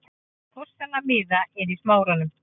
Forsala miða er í Smáranum.